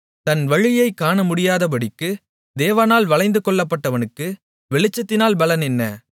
தன் வழியைக் காணமுடியாதபடிக்கு தேவனால் வளைந்துகொள்ளப்பட்டவனுக்கு வெளிச்சத்தினால் பலன் என்ன